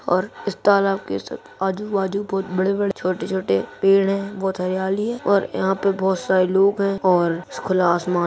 और इस तालाब के सब आजू-बाजू बहुत बड़े-बड़े छोटे-छोटे पेड़ हैं बहुत हरियाली है और यहाँ पे बहुत सारे लोग हैं और खुला आसमान --